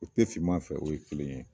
O te fiman fɛ o ye kelen ye